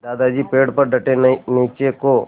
दादाजी पेड़ पर डटे नीचे को